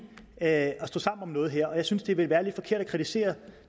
at stå sammen om noget her og jeg synes det ville være lidt forkert at kritisere